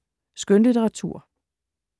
Skønlitteratur